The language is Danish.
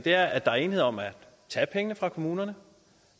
er at der er enighed om at tage pengene fra kommunerne